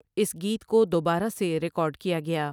اس گیت کو دوبارہ سے ریکارڈ کیا گیا ۔